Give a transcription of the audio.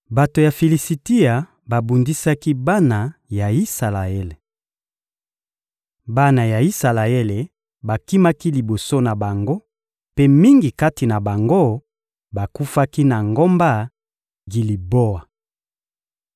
Bato ya Filisitia babundisaki bana ya Isalaele. Bana ya Isalaele bakimaki liboso na bango mpe mingi kati na bango bakufaki na ngomba Giliboa.